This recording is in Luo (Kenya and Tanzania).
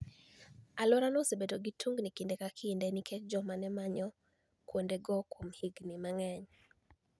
Alworano osebedo gi tuniginii kinide ka kinide niikech joma ni e maniyo kuonidego kuom higinii manig'eniy.